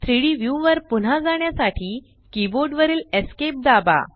3डी व्यू वर पुन्हा जाण्यासाठी कीबोर्ड वरील esc दाबा